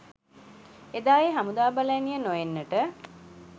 එදා ඒ හමුදා බල ඇණිය නො එන්නට